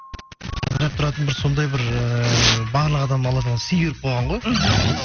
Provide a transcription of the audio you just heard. тұратын бір сондай бір ііі барлық адамға алла тағала сый беріп қойған ғой мхм мхм